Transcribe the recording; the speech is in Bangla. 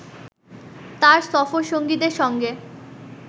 তাঁর সফরসঙ্গীদের সঙ্গে